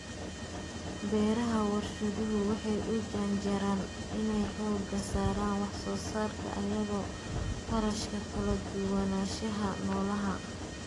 Beeraha warshaduhu waxay u janjeeraan inay xoogga saaraan wax soo saarka iyadoo kharashka kala duwanaanshaha noolaha.